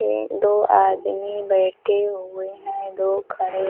ए दो आदमी बैठे हुए हैं। दो खड़े --